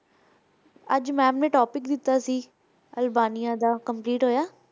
ਅੱਜ ma'am ਨੇ topic ਦਿੱਤਾ ਸੀ ਅਲਬਾਨੀਆ ਦਾ Albania ਹੋਇਆ